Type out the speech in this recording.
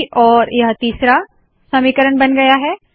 और यह तीसरा समीकरण बन गया है